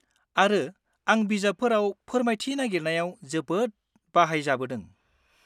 आरो आं बिजाबफोराव फोरमायथि नागिरनायाव जोबोद बाहायजाबोदों।